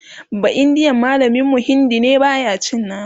baindiyan mallamin mu Hindi ne baya cin nama